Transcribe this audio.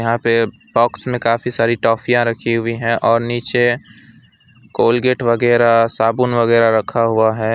यहां पे बॉक्स में काफी सारी टॉफियां रखी हुई हैं और नीचे कोलगेट वगैरह साबुन वगैरह रखा हुआ है।